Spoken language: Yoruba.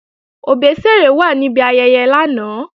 Òbésèré wà níbi ayẹyẹ lánàá